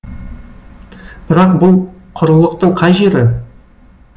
бірақ бұл құрылықтың қай жері